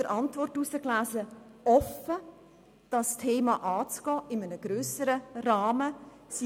Die Regierung ist offen, dieses Thema in einem grösseren Rahmen anzugehen.